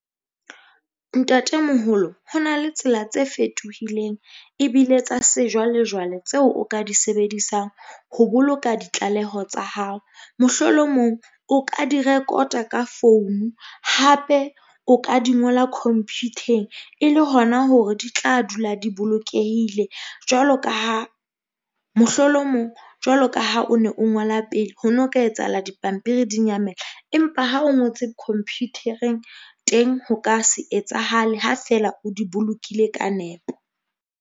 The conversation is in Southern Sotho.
Ntatemoholo ho na le tsela tse fetohileng ebile tsa sejwalejwale tseo o ka di sebedisang ho boloka ditlaleho tsa hao. Mohlolomong o ka di rekota ka founu, hape o ka di ngola khomphutheng e le hona hore di tla dula di bolokehile. Jwalo ka ha mohlolomong jwalo ka ha o ne o ngola pele ho no ka etsahala, dipampiri di nyamele, empa ha o ngotse khomphuthereng teng, ho ka se etsahale ha fela o di bolokile ka nepo.